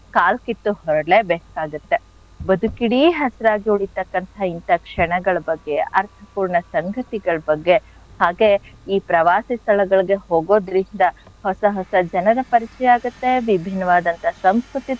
ಕಾಲ್ ಕಿತ್ತು ಹೊರ್ಡ್ಲೇ ಬೇಕಾಗತ್ತೆ. ಬದುಕಿಡೀ ಹಸಿರಾಗಿ ಉಳೀತಕ್ಕಂತ ಇಂಥ ಕ್ಷಣಗಳ್ ಬಗ್ಗೆ ಅರ್ಥಪೂರ್ಣ ಸಂಗತಿಗಳ್ ಬಗ್ಗೆ ಹಾಗೆ ಈ ಪ್ರವಾಸಿ ಸ್ಥಳಗಳಿಗೆ ಹೋಗೋದ್ರಿಂದ ಹೊಸ ಹೊಸ ಜನರ ಪರಿಚಯ ಆಗತ್ತೆ ವಿಭಿನ್ನವಾದಂಥ ಸಂಸ್ಕೃತಿ,